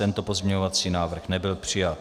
Tento pozměňovací návrh nebyl přijat.